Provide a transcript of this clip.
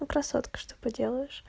красотка чтобы поделаешь